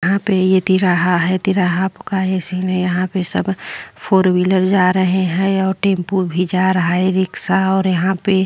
यहाँ पे ये तिराहा है। तिराहा आपका इसलिए यहाँ पर सब फोर व्हीलर जा रहे हैं और टेम्पो भी जा रहे है। रिक्शा और यहाँ पे --